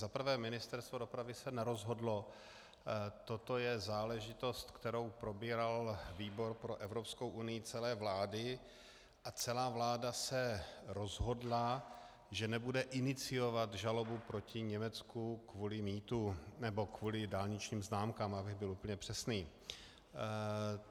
Za prvé, Ministerstvo dopravy se nerozhodlo, toto je záležitost, kterou probíral výbor pro Evropskou unii celé vlády, a celá vláda se rozhodla, že nebude iniciovat žalobu proti Německu kvůli mýtu, nebo kvůli dálničním známkám, abych byl úplně přesný.